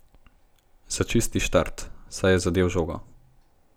Za čisti štart, saj je zadel žogo.